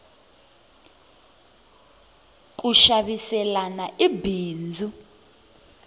ku xaviselana i bindzu